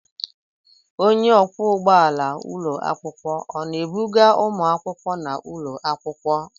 Onye ọkwọ ụgbọala ụlọ akwụkwọ ọ na-ebuga ụmụakwụkwọ n'ụlọ akwụkwọ?